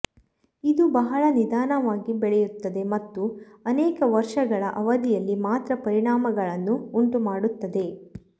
ಇದು ಬಹಳ ನಿಧಾನವಾಗಿ ಬೆಳೆಯುತ್ತದೆ ಮತ್ತು ಅನೇಕ ವರ್ಷಗಳ ಅವಧಿಯಲ್ಲಿ ಮಾತ್ರ ಪರಿಣಾಮಗಳನ್ನು ಉಂಟುಮಾಡುತ್ತದೆ